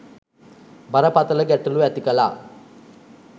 බරපතළ ගැටලු ඇති කළා